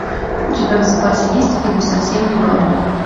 у тебя в запасе есть фильм совсем не бабник